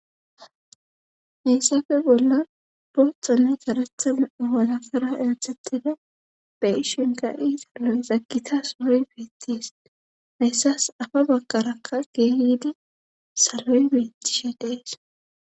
Heyssafe bolla booxonne saretha nau walafara ethettida be ishinka iitaloy zakita saroy beettis hayssas afa bakarakka geehidi saloy beettisha dees